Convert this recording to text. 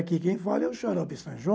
Aqui quem fala é o Xarope Sanjom.